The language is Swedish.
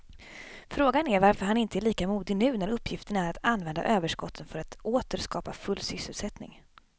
Frågan är varför han inte är lika modig nu när uppgiften är att använda överskotten för att åter skapa full sysselsättning.